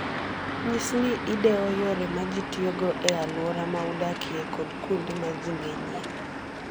Nyis ni idewo yore ma ji tiyogo e alwora ma udakie kod kuonde ma ji ng'enyie.